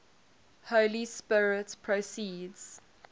holy spirit proceeds